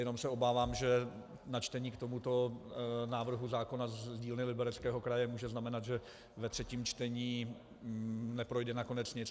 Jenom se obávám, že načtení k tomuto návrhu zákona z dílny Libereckého kraje může znamenat, že ve třetím čtení neprojde nakonec nic.